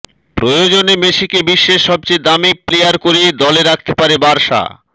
প্রয়োজনে মেসিকে বিশ্বের সবচেয়ে দামি প্লেয়ার করে দলে রাখতে পারে বার্সা